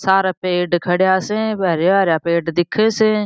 सारा पेड़ खड़ा स हरा हरा पेड़ दिखे स।